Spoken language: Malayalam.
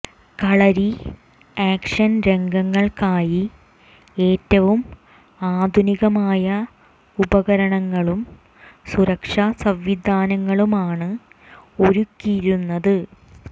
കളരി ആക്ഷൻ രംഗങ്ങൾക്കായി ഏറ്റവും ആധുനികമായ ഉപകരണങ്ങളും സുരക്ഷാ സംവിധാനങ്ങളുമാണ് ഒരുക്കിയിരുന്നത്